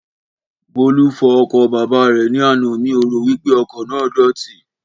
Bọ́lú fọ ọkọ̀ bàbá rè ní àná, miò ro wípé ọkọ̀ náà dọ̀tí